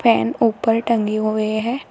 Fan ऊपर टंगी हुई है।